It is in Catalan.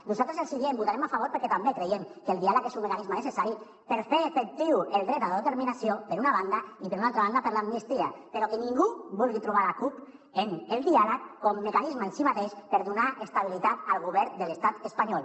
nosaltres els diem hi votarem a favor perquè també creiem que el diàleg és un mecanisme necessari per fer efectiu el dret a l’autodeterminació per una banda i per una altra banda per l’amnistia però que ningú vulgui trobar la cup en el diàleg com a mecanisme en si mateix per donar estabilitat al govern de l’estat espanyol